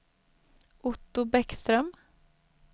Otto Bäckström